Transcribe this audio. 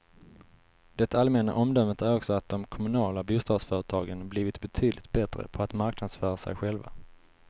Det allmänna omdömet är också att de kommunala bostadsföretagen blivit betydligt bättre på att marknadsföra sig själva.